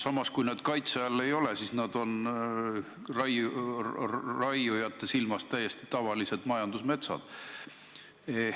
Samas, kui need kaitse all ei ole, siis need on raiujate silmis täiesti tavalised majandusmetsad.